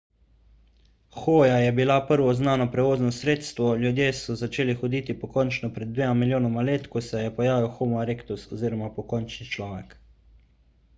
hoja je bilo prvo znano prevozno sredstvo ljudje so začeli hoditi pokončno pred dvema milijonoma let ko se je pojavil homo erectus oziroma pokončni človek